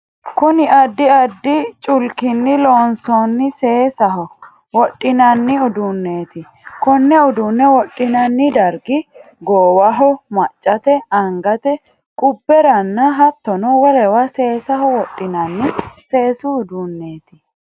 Kunni addi addi culkinni loonsoonni seesaho wodhinnanni uduuneeti. Kone uduune wodhinanni dargi goowaho, maccate, angate qubberanna hattono wolewa seesaho wodhinnanni seesu uduuneeti.